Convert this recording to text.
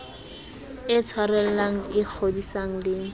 e tshwarellang e kgodisang le